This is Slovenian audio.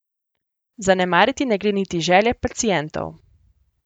Zanemariti ne gre niti želje pacientov.